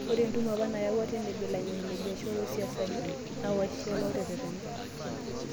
Ore entumo apa nayaua teneb ilangeni le biashara osiasani naa Washiali oteretena.